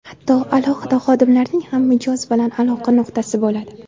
Hatto alohida xodimlarning ham mijoz bilan aloqa nuqtasi bo‘ladi.